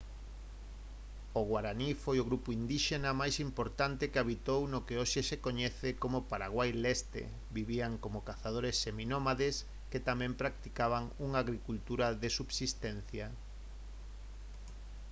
o guaraní foi o grupo indíxena máis importante que habitou no que hoxe se coñece como paraguai leste vivían como cazadores seminómades que tamén practicaban unha agricultura de subsistencia